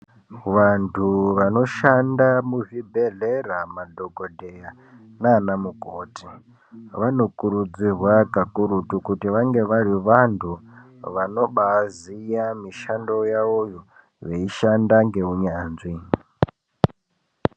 Vantu vanoshanda muzvibhedhlera, madhokodheya nana mukoti, vanokurudzirwa kakurutu, kuti vange vari vantu vanobaaziya mishando yawoyo, veishanda ngeunyanzvi.